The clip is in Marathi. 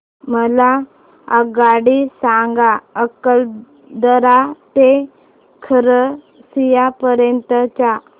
मला आगगाडी सांगा अकलतरा ते खरसिया पर्यंत च्या